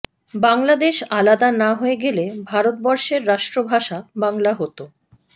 বাংলাদেশ আলাদা না হয়ে গেলে ভারতবর্ষের রাষ্ট্রভাষা বাংলা হতো